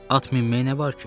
At minməyə nə var ki?